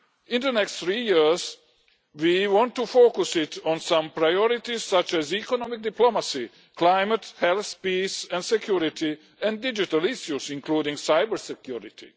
In the next three years we want to focus it on some priorities, such as economic diplomacy, climate, health, peace and security, and digital issues including cybersecurity.